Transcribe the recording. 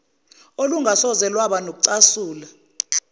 olungasoze lwaba nokucasula